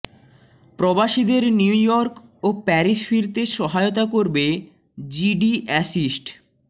প্রবাসীদের New York ও Paris ফিরতে সহায়তা করবে জিডি অ্যাসিস্ট